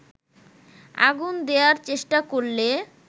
আগুন দেয়ার চেষ্টা করলে